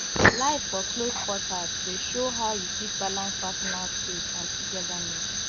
life for close quarters dey show how you fit balance personal space and togetherness